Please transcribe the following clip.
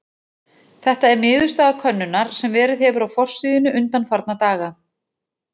Þetta er niðurstaða könnunar sem verið hefur á forsíðunni undanfarna daga.